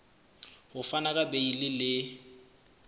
ho fana ka beile le